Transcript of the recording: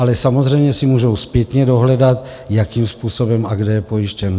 Ale samozřejmě si můžou zpětně dohledat, jakým způsobem a kde je pojištěn.